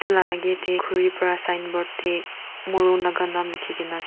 la agey tey khuri pra signboard tey morung laga naam likhigena ase.